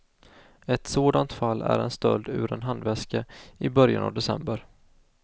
Ett sådant fall är en stöld ur en handväska i början av december.